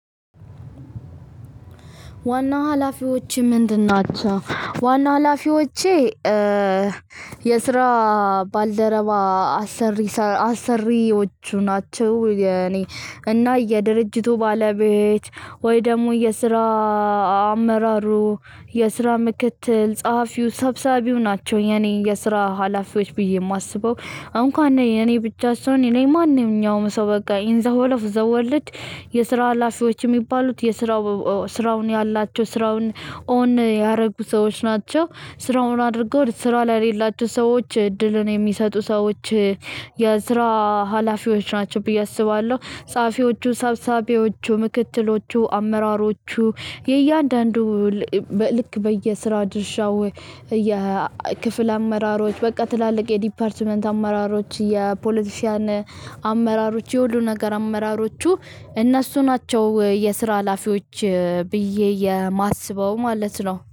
እና ሀላፊዎችህ ምንድናቸው? ዋና ሀላፊዎቼ የስራ ባልደረባ አሰሪ አሰሪዎቹ ናቸው። የኔ እና የድርጅቱ ባለቤት ወይ ደግሞ የስራ አመራሩ የስራ ምክትል ጸሐፊው ሰብሳቢው ናቸው። የኔ የስራ ሀላፊዎች ብዬ የማስበው እንኳን ነው። የኔ ብቻ ሰይሆን እኔ ማንኛውም ሰው በቃ ኢን ዘ ሆል ኦፍ ዘ ዎርልድ። የስራ ሀላፊዎች የሚባሉት የስራው ስራውን ያላቸው ስራውን ኦን ያደረጉ ሰዎች ናቸው። ስራውን አድርገው ስራው ላይ የሌላቸው ሰዎች እድልን የሚሰጡ ሰዎች የስራ ሀላፊዎች ናቸው ብዬ አስባለሁ። ጸሀፊዎቹ ሰብሳቢዎቹ ምክትሎቹ አመራሮቹ። የእያንዳንዱ ልክ በየስራ ድርሻው የክፍል አመራሮች በቃ ትላልቅ የዲፓርትመንት አመራሮች የፖለቲሽያን አመራሮች የሁሉ ነገር አመራሮቹ እነሱ ናቸው። የስራ ሀላፊዎች ብዬ የማስበው ማለት ነው